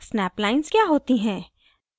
snap lines क्या होती हैं